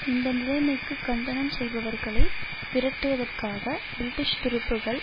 இந்த நிலைமைக்கு கண்டனம் செய்பவர்களை விரட்டுவதற்காக பிரிட்டிஷ் துருப்புக்கள்